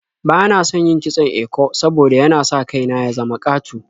Bana son yin kitson eko saboda yana sa kai na ya zama ƙato.